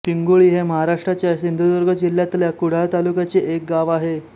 पिंगुळी हे महाराष्ट्राच्या सिंधुदुर्ग जिल्ह्यातल्या कुडाळ तालुक्यातले एक गाव आहे